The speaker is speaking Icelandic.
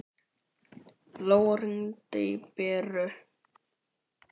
Lóa, hringdu í Beru.